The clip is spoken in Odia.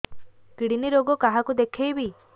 କିଡ଼ନୀ ରୋଗ କାହାକୁ ଦେଖେଇବି